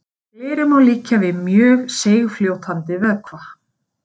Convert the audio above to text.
Gleri má líkja við mjög seigfljótandi vökva.